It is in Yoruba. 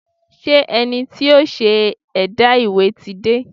Ṣé ẹni tí yóò ṣe ẹ̀dà ìwé ti dé?